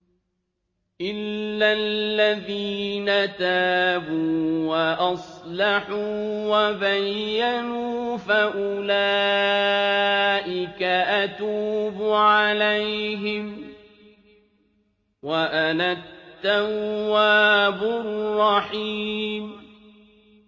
إِلَّا الَّذِينَ تَابُوا وَأَصْلَحُوا وَبَيَّنُوا فَأُولَٰئِكَ أَتُوبُ عَلَيْهِمْ ۚ وَأَنَا التَّوَّابُ الرَّحِيمُ